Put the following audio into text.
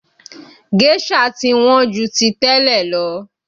Géșà ti Wọ́n ju ti tẹ́lẹ̀ lọ